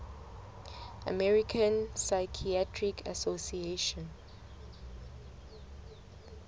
american psychiatric association